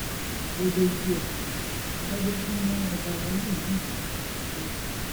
ó dojú ẹ adájọ tún ran ọba àlàyé miín léwọ nípínlẹ ogun